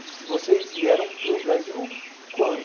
Vocês vieram para o Brasil quando?